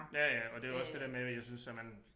Ja ja og det jo også det der med jeg synes at man